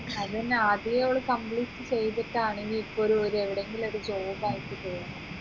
അതെന്നെ ആദ്യേ all complete ചെയ്തിട്ടാണെങ്കിൽ ഇപ്പൊ ഒരു ഒരു എടെങ്കിലും job ആയിട്ട് ചെയ്യാം